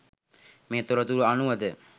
මේ තොරතුරු අනුවද